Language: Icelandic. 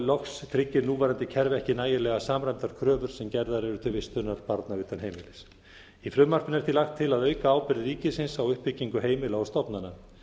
loks tryggir núverandi kerfi ekki nægilega samræmdar kröfur sem gerðar eru til vistunar barna utan heimilis í frumvarpinu er því lagt til að auka ábyrgð ríkisins á uppbyggingu heimila og stofnana